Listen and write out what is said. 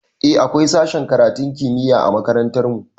Eh akwai sashen karatun kimiyya a makarantar mu